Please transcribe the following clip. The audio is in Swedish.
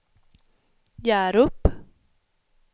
Hjärup